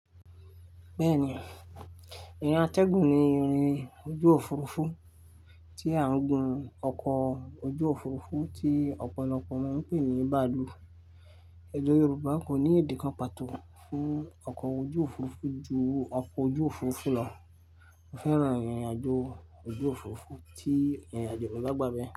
Bẹ́ẹ̀ni, ìrìn atẹ́gùn ni ìrìn ojú Òfurufú tí à ń gùn ọkọ̀ ojú Òfurufú tí ọ̀pọ̀lọpọ̀ máa ń pè ní bàálù. Ẹ̀dè Yorùbá kò ní èdè kàn pàtó fún ọkọ̀ ojú Òfurufú ju ọkọ̀ ojú Òfurufú lọ. Mó fẹ́ran ìrìnàjò ojú Òfurufú tí ìrìnàjò mógbàgbé.